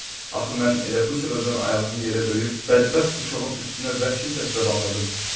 Axı mən elə bu səbəbdən ayağımı yerə döyüb bədbəxt uşağın üstünə vəhşi səslə bağırırdım.